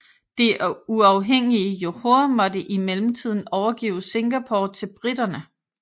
Det uafhængige Johor måtte i mellemtiden overgive Singapore til briterne